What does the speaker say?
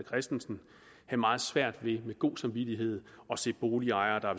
christensen have meget svært ved med god samvittighed at se boligejere der